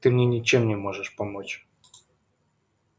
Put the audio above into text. ты мне ничем не можешь помочь